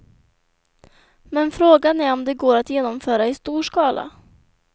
Men frågan är om det går att genomföra i stor skala.